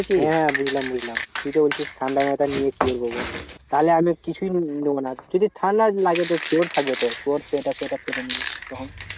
হ্যাঁ বুঝলাম বুঝলাম তুই তো বলছিস ঠান্ডা নেই তো নিয়ে কি করবো বল? তাহলে আমি কিছুই নেবো না যদি ঠান্ডা লাগে তো তোর থাকবে তো তোর সোয়েটার সোয়েটারে পরে নেবো তখন।